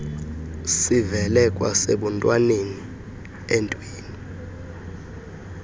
sivele kwasebuntwaneni emntwini